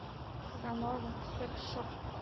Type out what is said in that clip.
казанова секс шоп